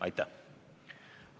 Aitäh!